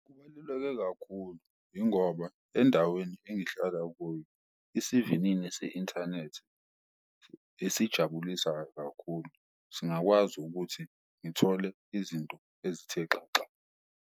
Kubaluleke kakhulu ingoba endaweni engihlala kuyo isivinini ese-inthanethi esijabulisa kakhulu, singakwazi ukuthi ngithole izinto ezithe xaxa.